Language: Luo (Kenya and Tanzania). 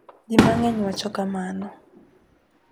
JI MANG'ENY wacho kamano.